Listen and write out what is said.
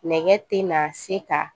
Nɛgɛ tɛ na se ka